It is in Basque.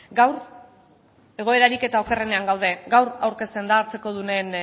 gaur egoerarik eta okerrenean gaude gaur aurkezten da hartzekodunen